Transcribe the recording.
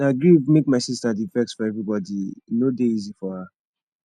na grief make my sista dey vex for everybodi e no dey easy for her